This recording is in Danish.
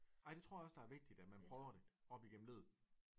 Ej det tror jeg også der er vigtigt at man prøver det op igennem livet